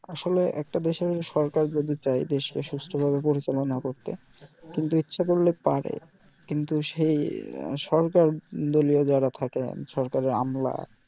আসলে একটা দেশের সরকার যদি চাই দেশকে সুস্থ ভাবে পরিচালনা করতে কিন্তু ইচ্ছা করলে পারে কিন্তু সেই সরকার দলীয় যারা থাকে সরকারের আমালা